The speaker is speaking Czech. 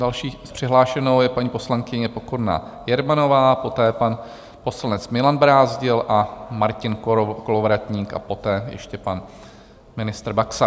Další přihlášenou je paní poslankyně Pokorná Jermanová, poté pan poslanec Milan Brázdil a Martin Kolovratník a poté ještě pan ministr Baxa.